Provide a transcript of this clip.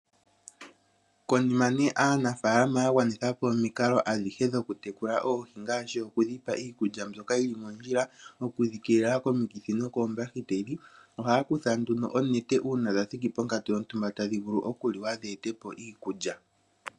Konima aanafaalama yagwanitha po omikalo adhihe dhokutekula oohi ngaashi okudhipa iikulya ndyoka yili mondjila, okudhi keelela komikithi nokoombahiteli. Ohaya kutha oonete uuna dhathiki ponkatu yontumba tadhi vulu okuliwa dheetepo iikulya